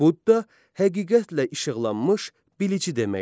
Budda həqiqətlə işıqlanmış bilici deməkdir.